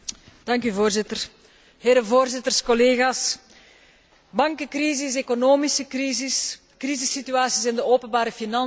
Voorzitter, voorzitters, collega's, bankencrisis, economische crisis, crisissituaties in de openbare financiën